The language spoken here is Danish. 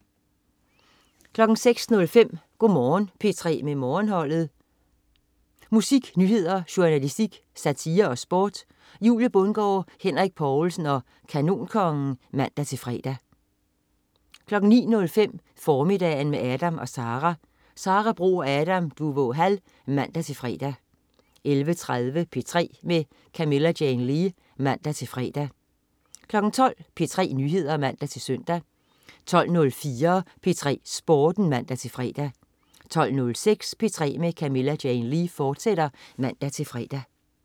06.05 Go' Morgen P3 med Morgenholdet. Musik, nyheder, journalistik, satire og sport. Julie Bundgaard, Henrik Povlsen og Kanonkongen (man-fre) 09.05 Formiddagen med Adam & Sara. Sara Bro og Adam Duvå Hall (man-fre) 11.30 P3 med Camilla Jane Lea (man-fre) 12.00 P3 Nyheder (man-søn) 12.04 P3 Sporten (man-fre) 12.06 P3 med Camilla Jane Lea, fortsat (man-fre)